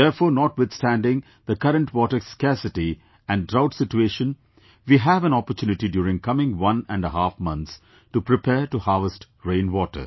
Therefore, notwithstanding the current water scarcity and drought situation, we have an opportunity during coming one and half months to prepare to harvest rainwater